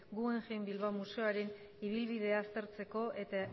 guggenheim bilbao museoaren ibilbidea aztertzeko eta